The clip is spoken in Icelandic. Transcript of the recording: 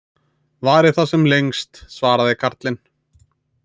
Vari það sem lengst, svaraði karlinn.